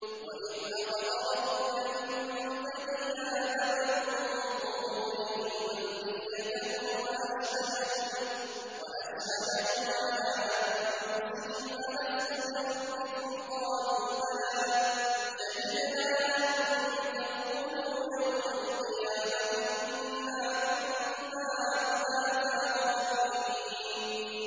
وَإِذْ أَخَذَ رَبُّكَ مِن بَنِي آدَمَ مِن ظُهُورِهِمْ ذُرِّيَّتَهُمْ وَأَشْهَدَهُمْ عَلَىٰ أَنفُسِهِمْ أَلَسْتُ بِرَبِّكُمْ ۖ قَالُوا بَلَىٰ ۛ شَهِدْنَا ۛ أَن تَقُولُوا يَوْمَ الْقِيَامَةِ إِنَّا كُنَّا عَنْ هَٰذَا غَافِلِينَ